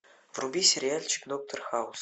вруби сериальчик доктор хаус